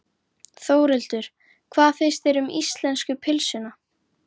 Þórhildur: Hvað finnst þér um íslensku pylsuna?